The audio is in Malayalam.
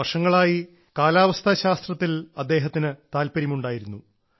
വർഷങ്ങളായി കാലാവസ്ഥാ ശാസ്ത്രത്തിൽ അദ്ദേഹത്തിന് താൽപര്യമുണ്ടായിരുന്നു